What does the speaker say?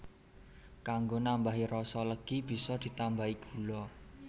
Kanggo nambahi rasa legi bisa ditambahi gula